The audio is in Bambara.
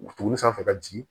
Wulinen sanfɛ ka jigin